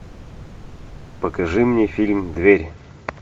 покажи мне фильм дверь